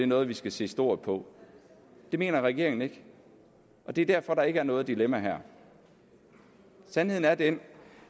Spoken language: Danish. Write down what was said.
noget vi skal se stort på det mener regeringen ikke det er derfor at der ikke er noget dilemma her sandheden er den